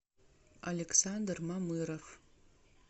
александр мамыров